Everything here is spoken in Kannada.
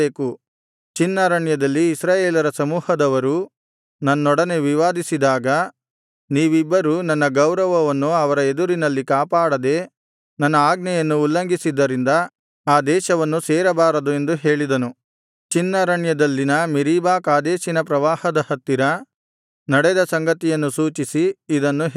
ಚಿನ್ ಅರಣ್ಯದಲ್ಲಿ ಇಸ್ರಾಯೇಲರ ಸಮೂಹದವರು ನನ್ನೊಡನೆ ವಿವಾದಿಸಿದಾಗ ನೀವಿಬ್ಬರೂ ನನ್ನ ಗೌರವವನ್ನು ಅವರ ಎದುರಿನಲ್ಲಿ ಕಾಪಾಡದೆ ನನ್ನ ಆಜ್ಞೆಯನ್ನು ಉಲ್ಲಂಘಿಸಿದ್ದರಿಂದ ಆ ದೇಶವನ್ನು ಸೇರಬಾರದು ಎಂದು ಹೇಳಿದೆನು ಚಿನ್ ಅರಣ್ಯದಲ್ಲಿನ ಮೆರೀಬಾ ಕಾದೇಶಿನ ಪ್ರವಾಹದ ಹತ್ತಿರ ನಡೆದ ಸಂಗತಿಯನ್ನು ಸೂಚಿಸಿ ಇದನ್ನು ಹೇಳಿದನು